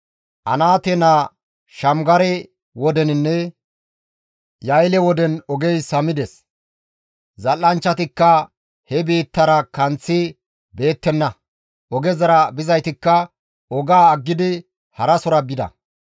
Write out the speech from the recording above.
«Anaate naa Shamgare wodeninne Ya7eele woden ogey samides; zal7anchchatikka he biittara kanththi beettenna. Ogezara bizaytikka ogaa aggidi harasora bida.